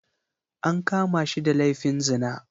An kama shi da laifin zina.